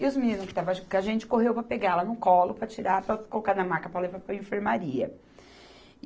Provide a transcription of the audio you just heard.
E os meninos que estavam junto com a gente, correu para pegar ela no colo, para tirar, para colocar na maca, para levar para a enfermaria.